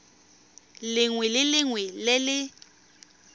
lengwe le lengwe le le